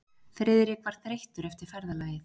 Friðrik var þreyttur eftir ferðalagið.